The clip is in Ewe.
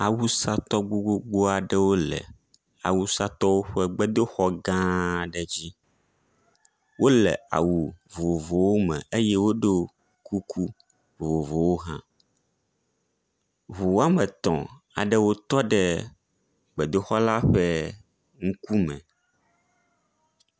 Awusatɔ gbogbogbo aɖewo le awusatɔwo ƒe gbedoxɔ gã aɖe dzi. Wole awu vovovowo me eye woɖɔ kuku vovovowo hã. Ŋu woame etɔ aɖewo tɔ ɖe gbedoxɔ la ƒe ŋkume.